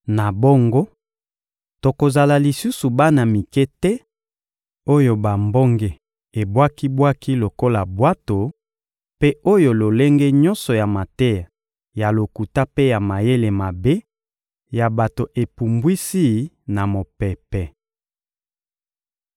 Na bongo, tokozala lisusu bana mike te oyo bambonge ebwaki-bwaki lokola bwato, mpe oyo lolenge nyonso ya mateya, ya lokuta mpe ya mayele mabe ya bato epumbwisi na mopepe.